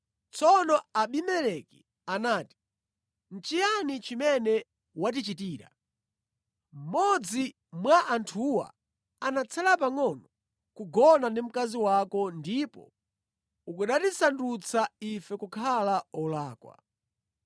Tsono Abimeleki anati, “Nʼchiyani chimene watichitira? Mmodzi mwa anthuwa anatsala pangʼono kugona ndi mkazi wako ndipo ukanatisandutsa ife kukhala olakwa.”